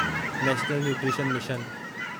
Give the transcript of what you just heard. national nutrition mission